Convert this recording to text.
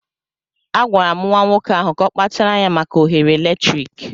Agwara m nwa nwoke ahụ ka ọ kpachara anya maka oghere eletrik.